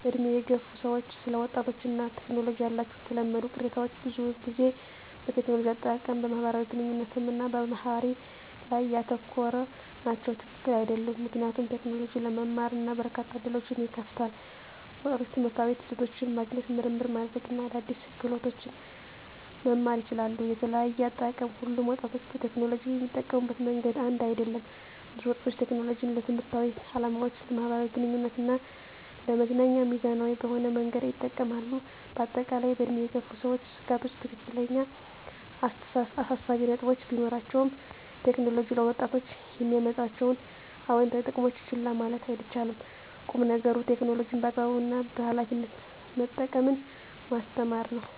በዕድሜ የገፉ ሰዎች ስለ ወጣቶች እና ቴክኖሎጂ ያላቸው የተለመዱ ቅሬታዎች ብዙውን ጊዜ በቴክኖሎጂ አጠቃቀም፣ በማህበራዊ ግንኙነት እና በባህሪ ላይ ያተኮሩ ናቸው። # ትክክል አይደሉም ምክንያቱም: ቴክኖሎጂ ለመማር እና በርካታ ዕድሎችን ይከፍታል። ወጣቶች ትምህርታዊ ይዘቶችን ማግኘት፣ ምርምር ማድረግ እና አዳዲስ ክህሎቶችን መማር ይችላሉ። * የተለያየ አጠቃቀም: ሁሉም ወጣቶች ቴክኖሎጂን የሚጠቀሙበት መንገድ አንድ አይደለም። ብዙ ወጣቶች ቴክኖሎጂን ለትምህርታዊ ዓላማዎች፣ ለማኅበራዊ ግንኙነት እና ለመዝናኛ ሚዛናዊ በሆነ መንገድ ይጠቀማሉ። በአጠቃላይ፣ በዕድሜ የገፉ ሰዎች ስጋቶች ትክክለኛ አሳሳቢ ነጥቦች ቢኖራቸውም፣ ቴክኖሎጂ ለወጣቶች የሚያመጣቸውን አዎንታዊ ጥቅሞች ችላ ማለት አይቻልም። ቁም ነገሩ ቴክኖሎጂን በአግባቡ እና በኃላፊነት መጠቀምን ማስተማር ነው።